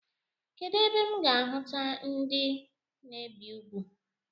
Kedụ ebe m ga-ahuta ndị na-ebi ugwu?